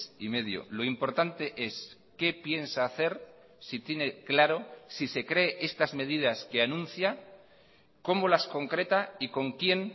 y medio lo importante es qué piensa hacer si tiene claro si se cree estas medidas que anuncia cómo las concreta y con quién